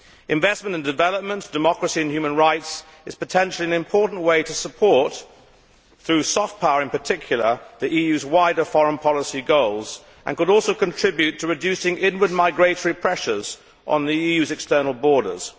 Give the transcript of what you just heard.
Investment and development, democracy and human rights are potentially an important way to support, through soft power in particular, the EU's wider foreign policy goals and could also contribute to reducing inward migratory pressures on the EU's external borders.